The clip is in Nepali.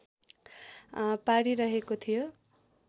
पारिरहेको थियो